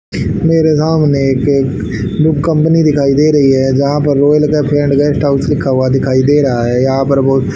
मेरे सामने एक बुक कंपनी दिखाई दे रही है जहां पर रॉयल का फ्रेंड गेस्ट हाउस की लिखा दिखाई दे रहा है यहां पर बहुत--